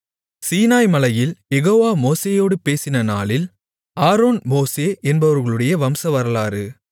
சீனாய் மலையில் யெகோவா மோசேயோடு பேசின நாளில் ஆரோன் மோசே என்பவர்களுடைய வம்சவரலாறு